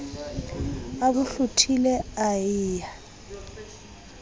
a bo hlothile e ya